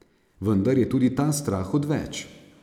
Vendar je tudi ta strah odveč.